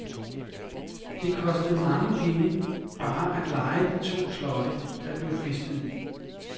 Det kostede mange penge bare at leje de to slotte, der blev festet i.